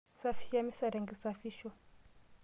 Safisha emesa tenkisafisho.